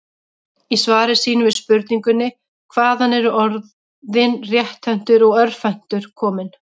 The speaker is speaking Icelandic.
Í svari sínu við spurningunni Hvaðan eru orðin rétthentur og örvhentur komin?